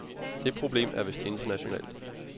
Det problem er vist internationalt.